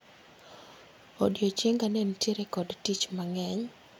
Odiechienga ne nitiere kod dich mang'eny